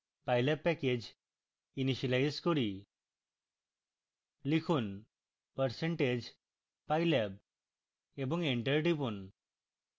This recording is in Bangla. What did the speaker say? pylab প্যাকেজ ইনিসিয়েলাইজ করি